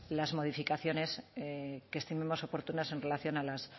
las modificaciones que estimemos oportunas en relación a las